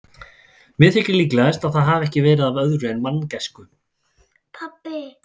Mér þykir líklegast, að það hafi ekki verið af öðru en manngæsku.